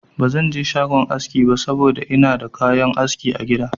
Ba zan je shagon aski ba saboda ina da kayan aski a gida.